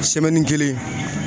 kelen